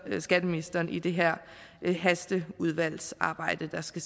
skatteministeren i det her hasteudvalgsarbejde der skal